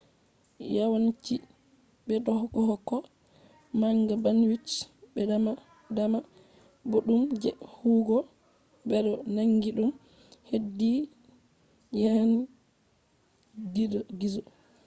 yawanci bedohokka manga bandwidth be dama dama boddum je huwugo. bedo nangi dum hedi yanan gizo